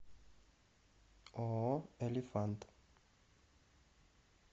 ооо элифант